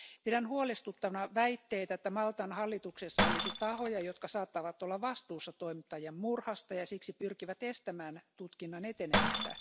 Pidän huolestuttavana väitteitä, että Maltan hallituksessa olisi tahoja, jotka saattavat olla vastuussa toimittajan murhasta ja siksi pyrkivät estämään tutkinnan etenemistä.